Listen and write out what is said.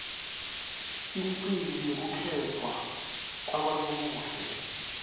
imicimbi yekukhetfwa kwabonobuhle